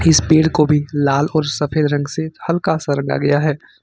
इस पेड़ को भी लाल और सफेद रंग से हल्का सा रंगा गया है।